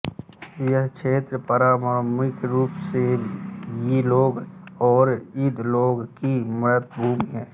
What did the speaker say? यह क्षेत्र पारम्परिक रूप से यी लोगों और बइ लोगों की मातृभूमि है